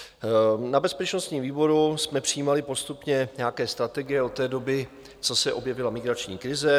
Na bezpečnostním výboru jsme přijímali postupně nějaké strategie od té doby, co se objevila migrační krize.